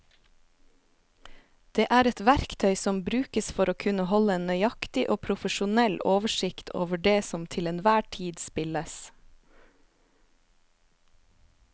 Det er et verktøy som brukes for å kunne holde en nøyaktig og profesjonell oversikt over det som til enhver tid spilles.